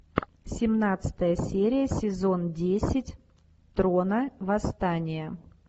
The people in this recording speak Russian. семнадцатая серия сезон десять трона восстания